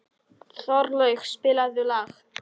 Þorlaug, spilaðu lag.